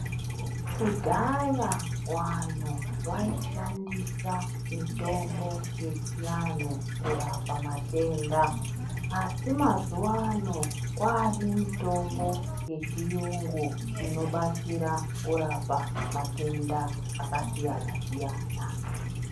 Kudhaya vantu vaishandisa mitombo yechiantu kurapa matenda asi mazuvaano kwane mitombo yechiyungu inobatsira kurapa matenda akasiyana siyana.